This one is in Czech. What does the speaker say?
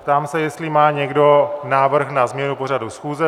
Ptám se, jestli má někdo návrh na změnu pořadu schůze.